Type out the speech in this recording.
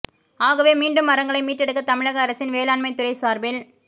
ஆகவே மீண்டும் மரங்களை மீட்டெடுக்க தமிழக அரசின் வேளாண்மை துறை சாா்பில்